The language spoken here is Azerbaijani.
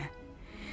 Yox demə.